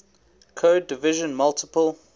code division multiple